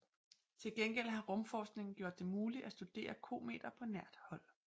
Tilgengæld har rumforskningen gjort det muligt at studere kometer på nært hold